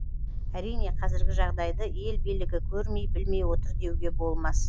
әрине қазіргі жағдайды ел билігі көрмей білмей отыр деуге болмас